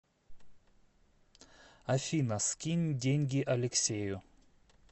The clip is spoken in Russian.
афина скинь деньги алексею